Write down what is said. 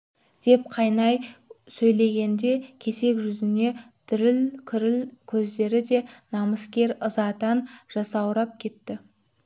деп қайнай сөйлегенде кесек жүзіне діріл кіріп көздері да намыскер ызадан жасаурап кетті